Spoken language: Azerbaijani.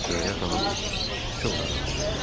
Sürəyyə xanım çox narahat oldu.